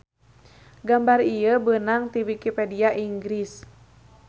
Gambar ieu beunang ti wikipedia Inggris